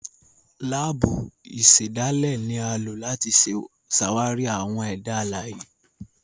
Laabu ìsèdálè ni a lo láti ṣàwarí àwọn ẹda alãye.